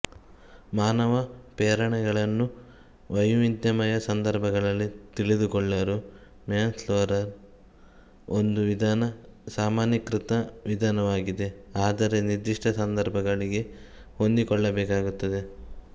ಮಾನವ ಪ್ರೇರಣೆಗಳನ್ನು ವೈವಿಧ್ಯಮಯ ಸಂದರ್ಭಗಳಲ್ಲಿ ತಿಳಿದುಕೊಳ್ಳಲು ಮ್ಯಾಸ್ಲೊರ ವಿಧಾನ ಒಂದು ಸಾಮಾನ್ಯೀಕೃತ ವಿಧಾನವಾಗಿದೆ ಆದರೆ ನಿರ್ದಿಷ್ಟ ಸಂದರ್ಭಗಳಿಗೆ ಹೊಂದಿಸಿಕೊಳ್ಳಬೇಕಾಗುತ್ತದೆ